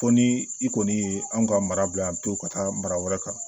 Fo ni i kɔni ye an ka mara bila yan pewu ka taa mara wɛrɛ kan